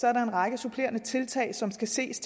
er der en række supplerende tiltag som skal ses